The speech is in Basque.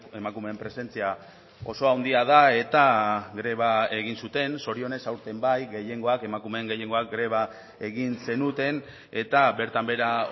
emakumeen presentzia oso handia da eta greba egin zuten zorionez aurten bai gehiengoak emakumeen gehiengoak greba egin zenuten eta bertan behera